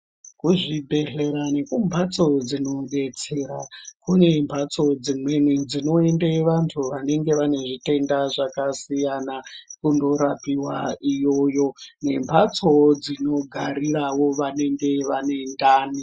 Muzvibhedhlera nekumbatso dzinodetsera kune mbatso dzimweni dzinoende vantu vanenge vane zvitenda zvakasiyana kundorapiwa iyoyo nembatso dzinogariravo vanenge vane ndani